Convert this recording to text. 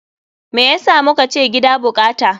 Me yasa mukace gida bukata?